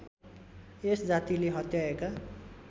यस जातिले हत्याएका